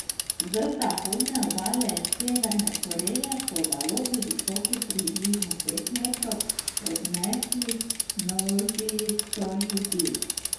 Z zahodne obale Severne Koreje so valovi, visoki približno pet metrov, odnesli množico ljudi.